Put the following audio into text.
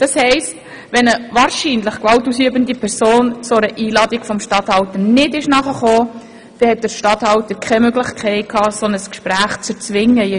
Das heisst, wenn eine wahrscheinlich gewaltausübende Person einer solchen Einladung nicht nachgekommen ist, hatte der Regierungsstatthalter keine Möglichkeit, ein solches Gespräch zu «erzwingen».